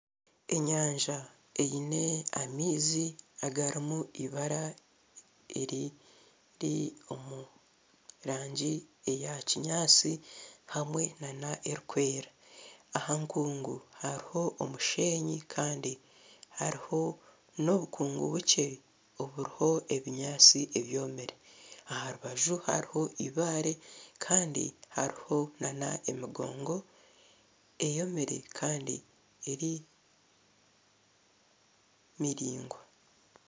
Enyanja erimu amaizi agarumu ibara eriri omurangi ya kinyansi hamwe n'erukwera ahankungu haruho omushenyi Kandi hariho n'obukungu bukye oburuho ebinyansi ebyomire aha rubaju haruho Ibare Kandi haruho n'emigongo eyomire Kandi eri miraingwa.